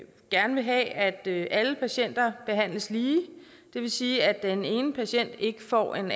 gerne vil have at alle patienter behandles lige det vil sige at den ene patient ikke får en